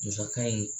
Musaka in